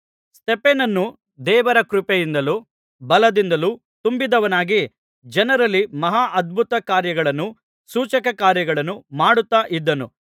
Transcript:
ಸ್ತೆಫನನು ದೇವರ ಕೃಪೆಯಿಂದಲೂ ಬಲದಿಂದಲೂ ತುಂಬಿದವನಾಗಿ ಜನರಲ್ಲಿ ಮಹಾ ಅದ್ಭುತ ಕಾರ್ಯಗಳನ್ನೂ ಸೂಚಕಕಾರ್ಯಗಳನ್ನೂ ಮಾಡುತ್ತಾ ಇದ್ದನು